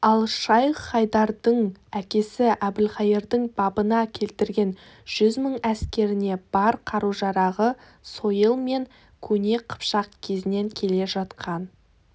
ал шайх-хайдардың әкесі әбілқайырдың бабына келтірген жүз мың әскеріне бар қару-жарағы сойыл мен көне қыпшақ кезінен келе жатқан